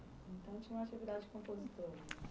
Então tinha uma atividade compositora.